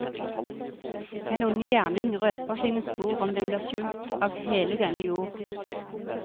Den onde gjerning røper sine spor om den blir skjult av hele denne jord.